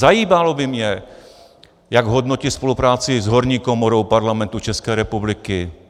Zajímalo by mě, jak hodnotí spolupráci s horní komorou Parlamentu České republiky.